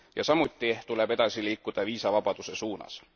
Samuti tuleb edasi liikuda viisavabaduse suunas.